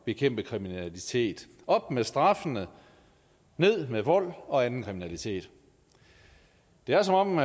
bekæmpe kriminalitet op med straffene ned med vold og anden kriminalitet det er som om